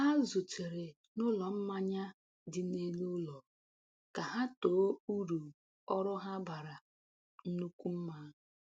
Ha zutere n’ụlọ mmanya dị n’elu ụlọ ka ha too uru ọrụ ha bara nnukwu mma.